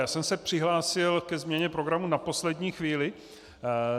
Já jsem se přihlásil ke změně programu na poslední chvíli.